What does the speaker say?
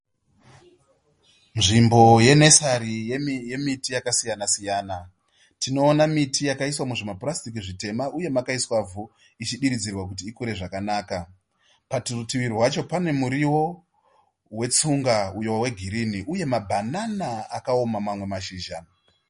Nzvimbo ye nursary yemiti yakasiyana siyana. Tinoona miti yakaiswa muzvimapurasitiki zvitema uye makaiswa ivhu ichidiridzirwa kuti ikure zvakanaka, parutivi rwacho pane muriwo wetsunga uyo wegirini uye mabanana akaoma mamwe mashizha.